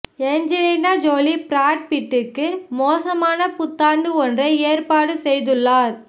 Angelina Jolie Brad பிட்டுக்கு மோசமான புத்தாண்டு ஒன்றை ஏற்பாடு செய்துள்ளார்